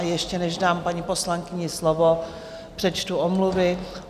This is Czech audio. A ještě, než dám paní poslankyni slovo, přečtu omluvy.